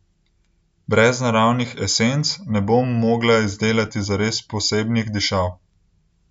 Brez naravnih esenc ne bom mogla izdelati zares posebnih dišav.